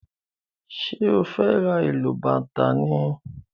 ṣe o fè rá ilú bàtá ni?